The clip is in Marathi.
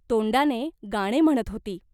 तोंडाने गाणे म्हणत होती.